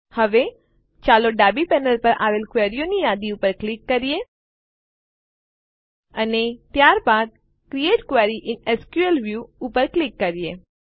હવે ચાલો ડાબી પેનલ પર આવેલ ક્વેરીઓની યાદી ઉપર ક્લિક કરીએ અને ત્યારબાદ create query in SQL view ઉપર ક્લિક કરીએ